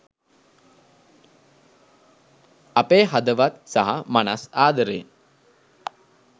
අපේ හදවත් සහ මනස් ආදරයෙන්